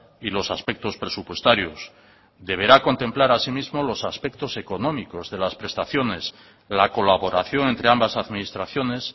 y los aspectos presupuestarios deberá contemplar así mismo los aspectos económicos de las prestaciones la colaboración entre ambas administraciones